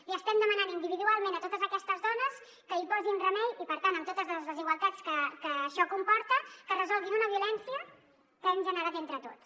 els estem demanant individualment a totes aquestes dones que hi posin remei i per tant amb totes les desigualtats que això comporta que resolguin una violència que hem generat entre tots